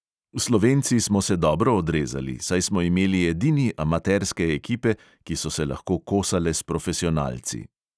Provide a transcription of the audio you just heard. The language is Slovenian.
Slovenci smo se dobro odrezali, saj smo imeli edini amaterske ekipe, ki so se lahko kosale s profesionalci.